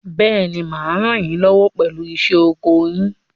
Bẹ́ẹ̀ni, mà á ràn yín lọ́wọ́ pẹ̀lú iṣẹ́ oko yín.